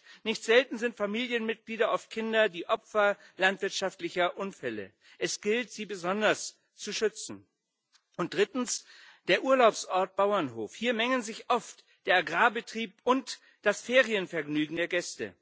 Das heißt Nicht selten sind Familienmitglieder, oft Kinder, die Opfer landwirtschaftlicher Unfälle. Es gilt, sie besonders zu schützen. Und drittens der Urlaubsort Bauernhof. Hier mengen sich oft der Agrarbetrieb und das Ferienvergnügen der Gäste